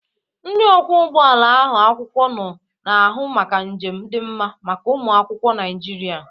Ndị ọkwọ ụgbọ ala ụlọ akwụkwọ nọ na-ahụ maka njem dị mma maka ụmụ akwụkwọ Naịjirịa.